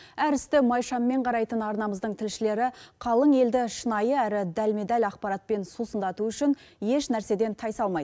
әр істі майшаммен қарайтын арнамыздың тілшілері қалың елді шынайы әрі дәлме дәл ақпаратпен сусындату үшін еш нәрседен тайсалмайд